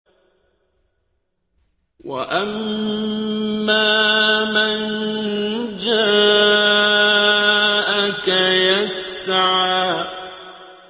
وَأَمَّا مَن جَاءَكَ يَسْعَىٰ